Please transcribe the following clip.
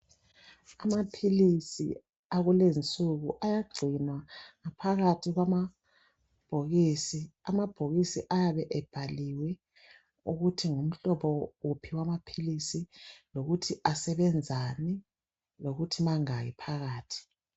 Amaphilisi yakulezinsuku ayagcinwa phakathi kwamabhokisi. Amabhokisi ayabe ebhaliwe ukuthi, ngumhlobo uphi wamaphilisi, lokuthi asebenzani, lokuthi mangaki phakathi.